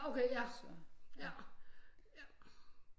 Ja okay ja ja